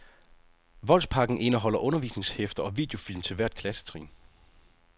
Voldspakken indeholder undervisningshæfter og videofilm til hvert klassetrin.